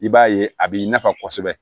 I b'a ye a b'i nafa kosɛbɛ